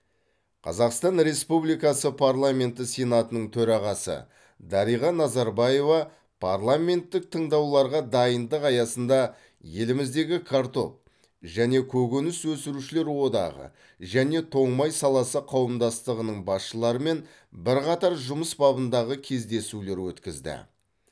қазақстан республикасы парламенті сенатының төрағасы дариға назарбаева парламенттік тыңдауларға дайындық аясында еліміздегі картоп және көкөніс өсірушілер одағы және тоң май саласы қауымдастығының басшыларымен бірқатар жұмыс бабындағы кездесулер өткізді